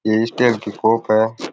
ये स्टील की कप है।